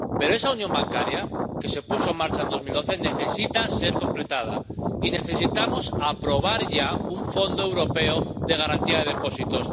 Pero esa unión bancaria que se puso en marcha en 2012 necesita ser completada, y necesitamos aprobar ya un fondo europeo de garantía de depósitos.